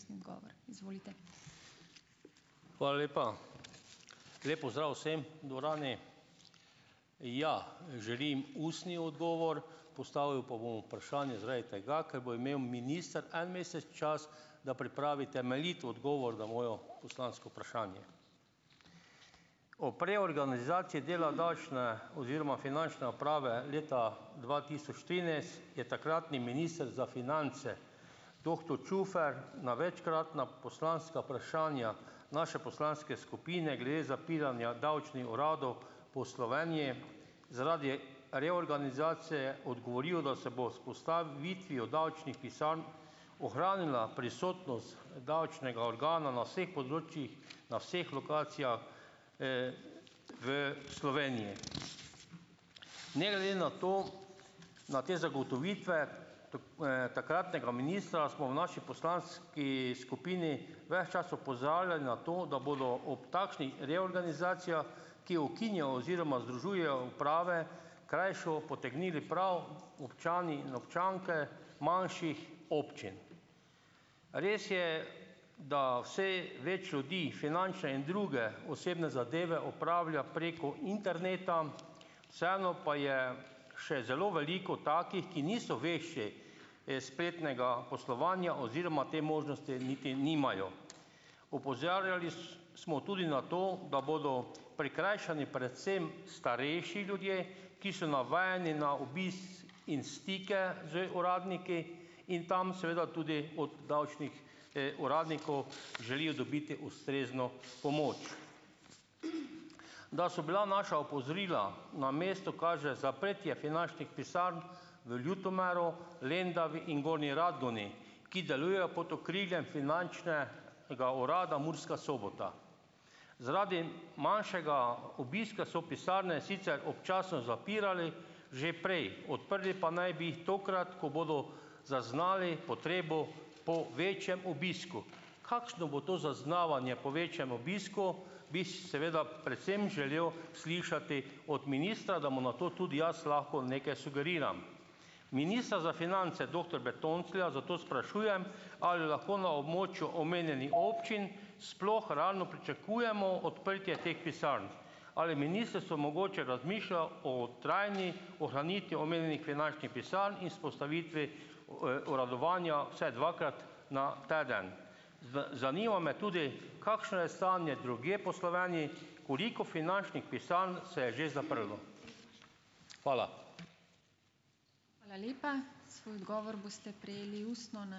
Hvala lepa. Lep pozdrav vsem v dvorani! Ja, želim ustni odgovor. Postavil pa bom vprašanje zaradi tega, ker bo imel minister en mesec čas, da pripravi temeljit odgovor na moje poslansko vprašanje. Ob reorganizaciji dela davčne oziroma finančne uprave leta dva tisoč trinajst je takratni minister za finance doktor Čufer na večkratna poslanska vprašanja naše poslanske skupine glede zapiranja davčnih uradov po Sloveniji zaradi reorganizacije odgovoril, da se bo z vzpostavitvijo davčnih pisarn ohranila prisotnost davčnega organa na vseh področjih, na vseh lokacijah, v Sloveniji. Ne glede na to, na te zagotovitve takratnega ministra smo v naši poslanski skupini ves čas opozarjali na to, da bodo ob takšnih reorganizacijah, ki ukinjajo oziroma združujejo uprave, krajšo potegnili prav občani in občanke manjših občin. Res je, da vse več ljudi finančne in druge osebne zadeve opravlja preko interneta, vseeno pa je še zelo veliko takih, ki niso vešči, spletnega poslovanja oziroma te možnosti niti nimajo. Opozarjali smo tudi na to, da bodo prikrajšani predvsem starejši ljudje, ki so navajeni na obisk in stike z uradniki in tam seveda tudi od davčnih, uradnikov želijo dobiti ustrezno pomoč. Da so bila naša opozorila na mestu, kaže zaprtje finančnih pisarn v Ljutomeru, Lendavi in Gornji Radgoni, ki delujejo pod okriljem Finančnega urada Murska Sobota. Zaradi manjšega obiska so pisarne sicer občasno zapirali že prej. Odprli pa naj bi jih tokrat, ko bodo zaznali potrebo po večjem obisku. Kakšno bo to zaznavanje po večjem obisku, bi seveda predvsem želel slišati od ministra, da mu na to tudi jaz lahko nekaj sugeriram. Ministra za finance doktor Bertonclja zato sprašujem, ali lahko na območju omenjenih občin sploh realno pričakujemo odprtje teh pisarn. Ali ministrstvo mogoče razmišlja o trajni ohranitvi omenjenih finančnih pisarn in vzpostavitvi uradovanja vsaj dvakrat na teden. Zanima me tudi, kakšno je stanje drugje po Sloveniji, koliko finančnih pisarn se je že zaprlo. Hvala.